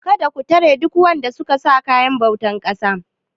Kada ku tare duk wanda suka sa kayan bautar ƙasa.!